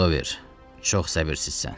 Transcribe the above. Brizover, çox səbirsizsən.